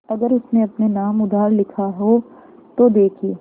अगर उसने अपने नाम उधार लिखा हो तो देखिए